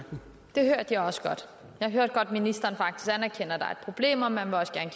det hørte jeg også godt jeg hørte godt at ministeren anerkender at der er problem og at man også gerne